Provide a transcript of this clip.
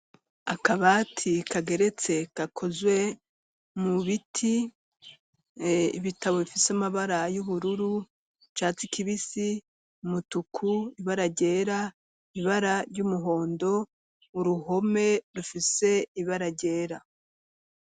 Akabati kageretse kakozwe mu biti, ibitabo bifise amabara y'ubururu, icatsi kibisi, umutuku, ibara gera, ibara ry'umuhondo, uruhome rufise ibara ryera.